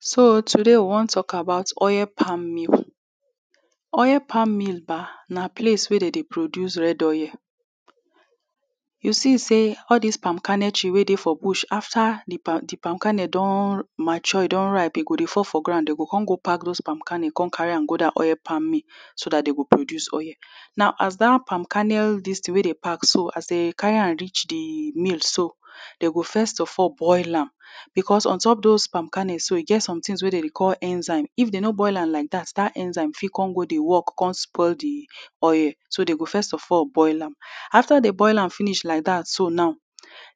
So today we wan talk about oil palm meal. Oil palm meal ba na place wey dey dey produce red oil. You see say all dis palm kernel tree wey dey for bush after di palm, di palm kernel don mature, don ripe, dey go dey pour for ground. Dem go come go pack those palm kernel, come carry am go dat oil palm mill so dat dem go produce oil. Now as dat palm kernel dis tin wey dey pack so, as dey carry am reach di mill so, dey go first of all boil am. Because untop those palm kernel so, e get some tins wey dem dey call enzyme. If dey no boil am like dat, dat enzyme fit come go dey work, spoil di oil. So, dey go first of all boil am. After dem boil am finish like dat so now,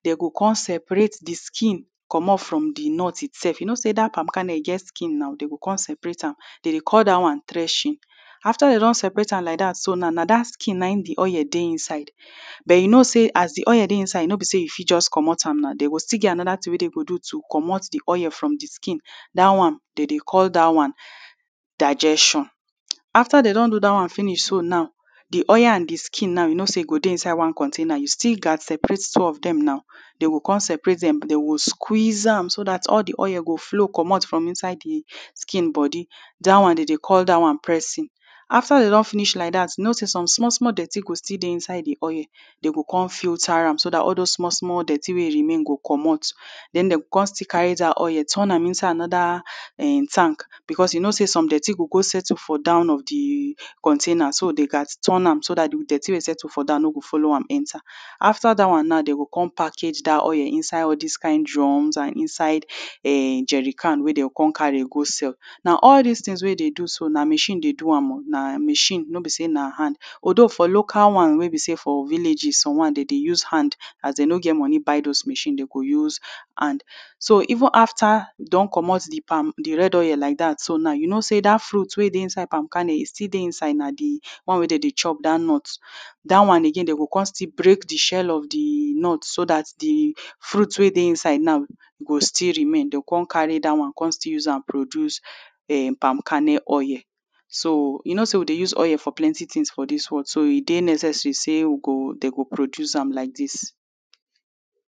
dey go come separate di skin, comot from di nut itself. You know say dat palm kernel e get skin na, dey go come separate am. Dey dey call dat one "threshing". After dem don separate am like dat so now, na dat skin na im dey oil dey inside. But you know say as di oil dey inside, no be say you fit just comot am na. Dey go still get another tin wey dey go do to comot di oil from di skin. Dat one, dey dey call dat one "digestion". After dey don do dat one finish so now, di oil and di skin you know say e go dey inside one container, you still gats separate two of dem na. Dey go come separate dem. Dey go squeeze am so dat oil di oil go flow comot from inside di skin body. Dat one, dey dey call dat one pressing. After dey don finish like dat, you know say some small small dirty go still dey inside di oil, dem go come filter am so dat all those small small dirty wey dey remain go comot. Then, dey go come still carry dat oil turn am inside another um tank because you know say some dirty gò gó settle for down of di container so dey gats turn am so dat di dirty wey settle for down no go blow am enter. After dat one now, dey go come package dat oil inside all dis kain drums and inside um jerrycan wey dem go come carry go sell. Now, all dis tins wey you dey do so na machine dey do am o. Na machine, no be say na hand. Although for local one wey be say for villages one, dey dey use hand. As dem no get money buy those machine, dem go use hand. So even after you don comot di palm, di red oil like dat so na, you know say dat fruit wey dey inside palm kernel still dey inside. Na di one wey dey dey chop, dat nut, dat one again, dem go come still break di shell of di nut so dat di fruit wey dey inside now, e go still remain. Dem go come carry dat one, come still use am produce um palm kernel oil. So, you know say we dey use oil for plenty tins for dis world, so e dey necessary say we go, dey go produce am like dis.